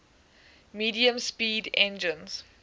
medium speed engines